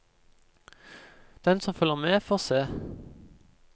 Den som følger med, får se.